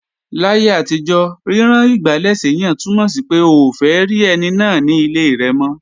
Láyé àtijọ́, rírán igbálẹ̀ séyàn túnmọ̀ sí pé, o ò fẹ́ rí ẹni náà ní ilé rẹ̀ mọ́